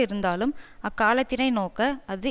இருந்தாலும் அக்காலத்தினை நோக்க அது